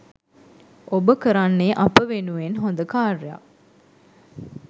ඔබ කරන්නේ අප වෙනුවෙන් හොද කාර්යයක්.